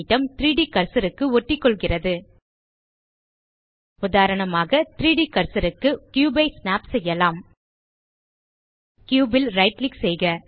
3ட் கர்சர் க்கு ஒட்டிக்கொள்கிறது உதாரணமாக 3ட் கர்சர் க்கு கியூப் ஐ ஸ்னாப் செய்யலாம் கியூப் ல் ரைட் கிளிக் செய்க